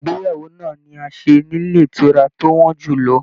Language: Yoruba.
Ìgbéyàwó náà ni a ṣe nílé ìtura tó wọn jùlọ.